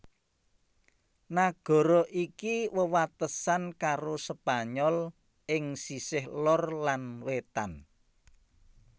Nagara iki wewatesan karo Spanyol ing sisih lor lan wétan